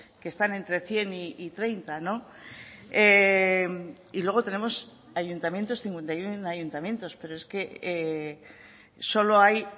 que están entre cien y treinta y luego tenemos ayuntamientos cincuenta y uno ayuntamientos pero es que solo hay